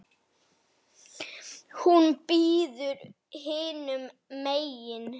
Hún bíður hinum megin.